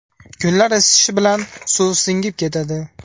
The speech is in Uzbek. Kunlar isishi bilan suv singib ketadi.